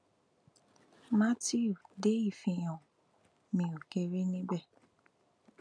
mátíù dé ìfihàn mi ó kéré níbẹ